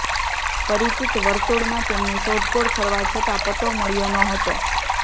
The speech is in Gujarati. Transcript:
પરિચિત વર્તુળમાં તેમની શોધખોળ કરવા છતાં પતો મળ્યો ન હતો